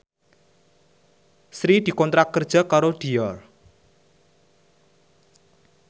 Sri dikontrak kerja karo Dior